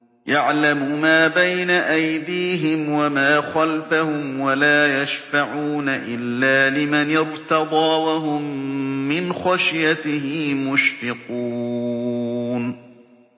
يَعْلَمُ مَا بَيْنَ أَيْدِيهِمْ وَمَا خَلْفَهُمْ وَلَا يَشْفَعُونَ إِلَّا لِمَنِ ارْتَضَىٰ وَهُم مِّنْ خَشْيَتِهِ مُشْفِقُونَ